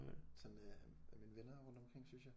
Sådan af af mine venner rundt omkring synes jeg